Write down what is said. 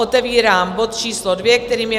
Otevírám bod číslo 2, kterým je